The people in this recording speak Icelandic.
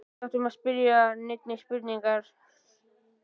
Og við áttum ekki að spyrja neinna spurninga.